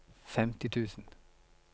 femti tusen